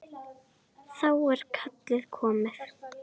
Þá er kallið komið.